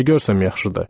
Nə görsəm yaxşıdır!